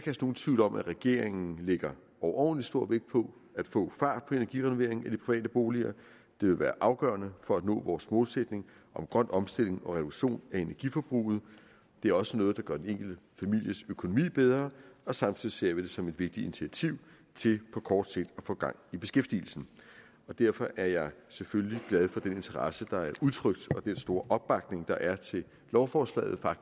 nogen tvivl om at regeringen lægger overordentlig stor vægt på at få fart på energirenoveringen i de private boliger det vil være afgørende for at nå vores målsætning om grøn omstilling og reduktion af energiforbruget det er også noget der gør den enkelte families økonomi bedre samtidig ser vi det som et vigtigt initiativ til på kort sigt at få gang i beskæftigelsen derfor er jeg selvfølgelig glad for den interesse der er udtrykt og den store opbakning der er til lovforslaget